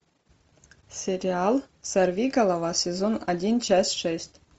сериал сорви голова сезон один часть шесть